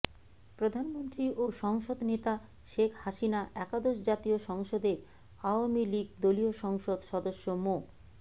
প্রধানমন্ত্রী ও সংসদ নেতা শেখ হাসিনা একাদশ জাতীয় সংসদের আওয়ামী লীগ দলীয় সংসদ সদস্য মো